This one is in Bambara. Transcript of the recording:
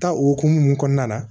Ta o hukumu kɔnɔna na